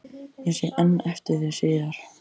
Ég sé enn eftir því síðar